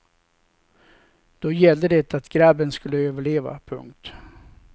Då gällde det att grabben skulle överleva. punkt